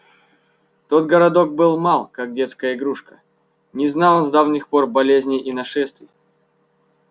тот городок был мал как детская игрушка не знал он с давних пор болезней и нашествий